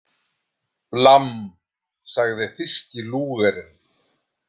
Blamm, sagði þýski Lúgerinn.